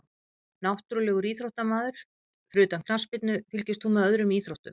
Náttúrulegur íþróttamaður Fyrir utan knattspyrnu, fylgist þú með öðrum íþróttum?